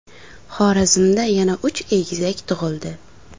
Xorazmda yana uch egizak tug‘ildi .